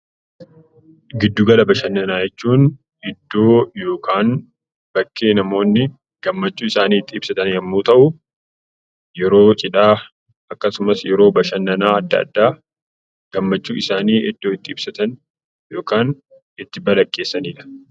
Giddu gala bashannanaa jechuun iddoo yookaan bakkee namoonni gammachuu isaanii itti ibsatan too ta'u, yeroo cidhaa akkasumas yeroo bashannanaa adda addaa gammachuu isaanii iddoo itti ibsatanidha.